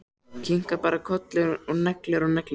Kinkar bara kolli og neglir og neglir.